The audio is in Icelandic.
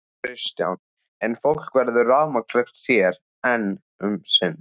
Kristján: En fólk verður rafmagnslaust hér enn um sinn?